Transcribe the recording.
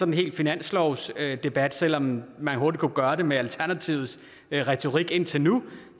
en hel finanslovsdebat selv om man hurtigt kunne gøre den til det med alternativets retorik indtil nu